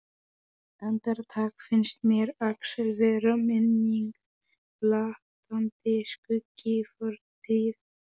Andartak finnst mér Axel vera minning, blaktandi skuggi í fortíð.